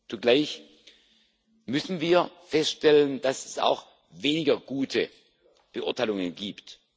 Zugleich müssen wir feststellen, dass es auch weniger gute Beurteilungen gibt.